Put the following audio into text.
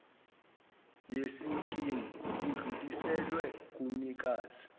yesikimu udluliselwa kumnikazi